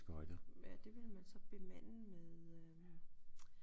Det vil man så bemande med øh